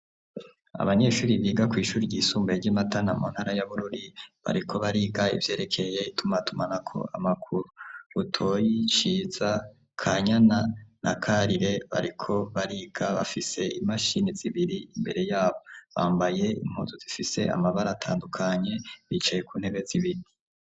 Abanyeshure biga kw'ishure ry'isumbuye ry'imatana mu ntara y'abururi bariko bariga ivyerekeye itumatumanako amakuru rutoyi, ciza, kanyana, na karire bariko bariga bafise imashini zibiri imbere yabo, bambaye impuzu zifise amabara atandukanye bicaye ku ntebe zibiri.